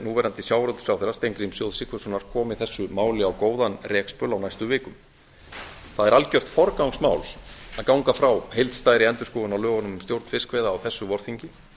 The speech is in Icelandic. núverandi sjávarútvegsráðherra steingríms j sigfússonar á góðan rekspöl á næstu vikum það er algjört forgangsmál að ganga frá heildstæðri endurskoðun á lögunum um stjórn fiskveiða á þessu vorþingi